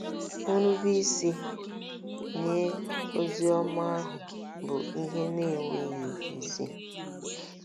Nrubeisi nye ozi ọma ahụ bụ ihe na-enweghị isi.